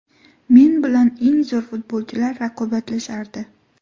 Men bilan eng zo‘r futbolchilar raqobatlashardi.